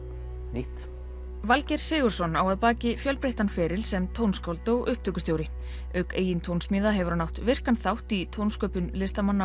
nýtt Valgeir Sigurðsson á að baki fjölbreyttan feril sem tónskáld og upptökustjóri auk eigin tónsmíða hefur hann átt virkan þátt í tónsköpun listamanna